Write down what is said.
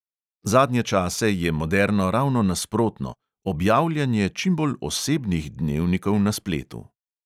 Zadnje čase je moderno ravno nasprotno – objavljanje čim bolj osebnih dnevnikov na spletu.